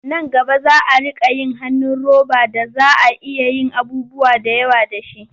Nan gaba za a riƙa yin hannun roba da za a iya yin abubuwa da yawa da shi.